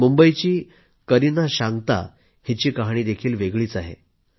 मुंबईची करीना शांक्ता हिची कहाणीही वेगळीच आहे